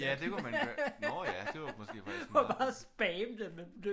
Ja det kunne man når ja det var faktisk måske meget